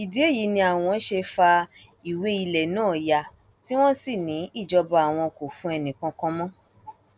ìdí èyí ni àwọn ṣe fa ìwé ilẹ náà ya tí wọn sì ní ìjọba àwọn kò fún ẹnìkankan mọ